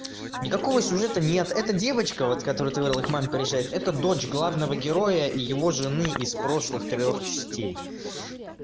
никакого сюжета нет эта девочка вот которая ты говорила к маме приезжает это дочь главного героя и его жены из прошлых трёх частей